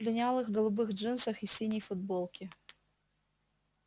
в линялых голубых джинсах и синей футболке